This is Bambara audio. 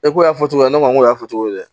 E ko y'a fɔ cogo min ne ma ko y'a fɔ cogo di